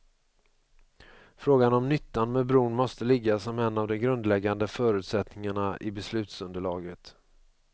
Frågan om nyttan med bron måste ligga som en av de grundläggande förutsättningarna i beslutsunderlaget.